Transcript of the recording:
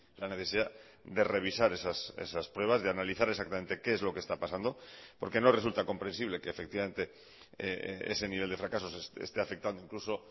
la necesidad de revisar esas pruebas de analizar exactamente qué es lo que está pasando porque no resulta comprensible que efectivamente ese nivel de fracaso esté afectando incluso